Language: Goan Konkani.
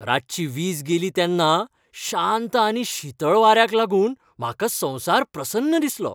रातची वीज गेली तेन्ना शांत आनी शीतळ वाऱ्याक लागून म्हाका संवसार प्रसन्न दिसलो.